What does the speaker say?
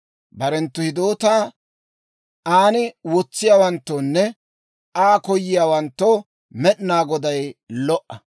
Barenttu hidootaa an wotsiyaawanttoonne Aa koyiyaawanttoo Med'inaa Goday lo"o.